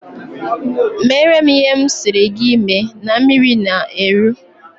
Meere m ihe m sịrị gị mee na mmiri na-eru!